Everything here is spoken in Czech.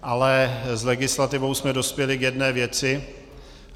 Ale s legislativou jsme dospěli k jedné věci.